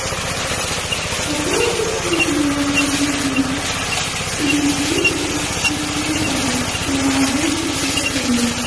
пополни счет моего коллеги никиты счет телефона на двести пятьдесят рублей